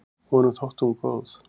Honum þótti hún góð.